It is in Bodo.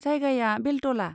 जायगाया बेलतला।